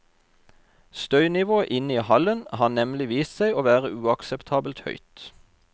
Støynivået inne i hallen har nemlig vist seg å være uakseptabelt høyt.